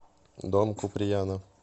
дом куприяна